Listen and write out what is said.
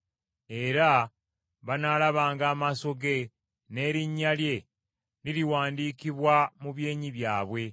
era banaalabanga amaaso ge, n’erinnya lye liriwandiikibwa mu byenyi byabwe.